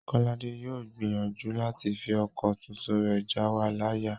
Kọ́ládé yóò gbìyànjú láti fi ọkọ̀ tuntun rẹ̀ jáwa láyà